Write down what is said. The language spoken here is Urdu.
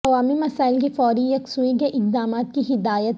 عوامی مسائل کی فوری یکسوئی کے اقدامات کی ہدایت